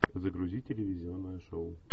загрузи телевизионное шоу